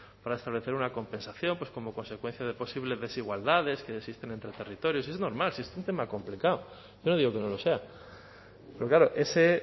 para establecer una compensación como consecuencia de posibles desigualdades que existen entre territorios es normal si es un tema complicado yo no digo que no lo sea pero claro ese